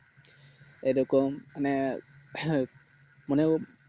এইরকম মানে হ্যাঁ মানে